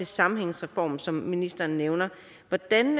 sammenhængsreformen som ministeren nævner hvordan